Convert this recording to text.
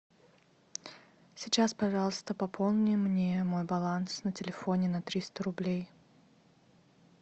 сейчас пожалуйста пополни мне мой баланс на телефоне на триста рублей